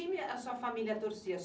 time a sua família torcia?